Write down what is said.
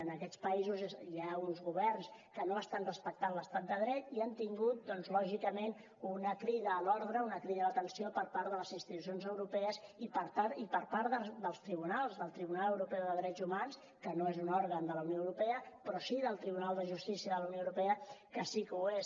en aquests països hi ha uns governs que no estan respectant l’estat de dret i han tingut doncs lògicament una crida a l’ordre una crida d’atenció per part de les institucions europees i per part dels tribunals del tribunal europeu de drets humans que no és un òrgan de la unió europea però sí del tribunal de justícia de la unió europea que sí que ho és